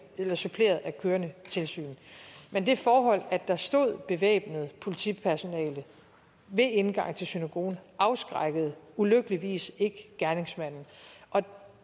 af kørende tilsyn men det forhold at der stod bevæbnet politipersonale ved indgangen til synagogen afskrækkede ulykkeligvis ikke gerningsmanden og